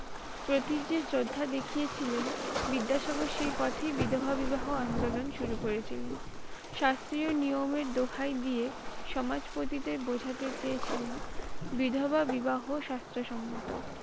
প্রতি যে শ্রধা দেখিয়েছিলেন। বিদ্যাসাগর সেই পথে বিধবা বিবাহ আন্দোলন শুরু করেছিলেন। শাস্ত্রীয় নিয়মের দোহাই দিয়ে সমাজ পতিদের বুঝাতে চেয়েছিলেন বিধবা বিবাহ স্বাস্থ্যসম্মত।